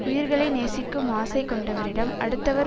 உயிர்களை நேசிக்கும் ஆசை கொண்டவரிடம் அடுத்தவர்